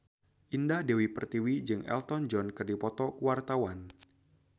Indah Dewi Pertiwi jeung Elton John keur dipoto ku wartawan